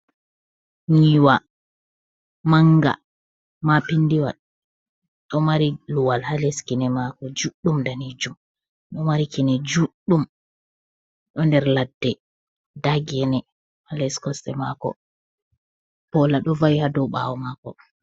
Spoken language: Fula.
Nyiwa manga ma pindiwal ɗo mari luwal ha leskine mako juɗɗum danejum, do mari kine juɗɗum do nder ladde nda gene ha les kosɗe mako pola do awi, ha do ɓawo mako.